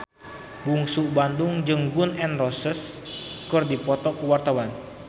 Bungsu Bandung jeung Gun N Roses keur dipoto ku wartawan